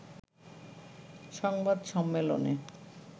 সংবাদ সম্মেলনে